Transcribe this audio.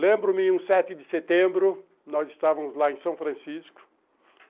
Lembro-me, um sete de setembro, nós estávamos lá em São Francisco.